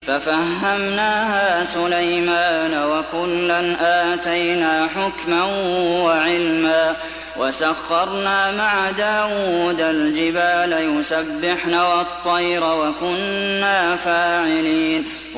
فَفَهَّمْنَاهَا سُلَيْمَانَ ۚ وَكُلًّا آتَيْنَا حُكْمًا وَعِلْمًا ۚ وَسَخَّرْنَا مَعَ دَاوُودَ الْجِبَالَ يُسَبِّحْنَ وَالطَّيْرَ ۚ وَكُنَّا فَاعِلِينَ